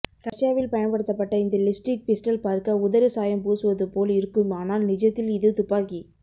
ரஷ்யாவில் பயன்படுத்தப்பட்ட இந்த லிப்ஸ்டிக் பிஸ்டல் பார்க்க உதடு சாயம் பூசுவது போல் இருக்கும் ஆனால் நிஜத்தில் இது துப்பாக்கி